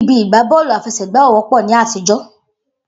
Ibi ìgbá bọ́ọ̀lù àfẹsẹ̀gbá ò wọ́pọ̀ ní àtijọ́.